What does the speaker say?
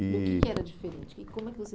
E... O que que era diferente? E como é que você